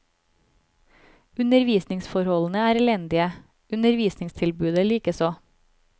Undervisningsforholdene er elendige, undervisningstilbudet likeså.